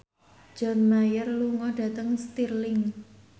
John Mayer lunga dhateng Stirling